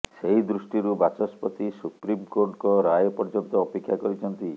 ସେହି ଦୃଷ୍ଟିରୁ ବାଚସ୍ପତି ସୁପ୍ରିମକୋର୍ଟଙ୍କ ରାୟ ପର୍ଯ୍ୟନ୍ତ ଅପେକ୍ଷା କରିଛନ୍ତି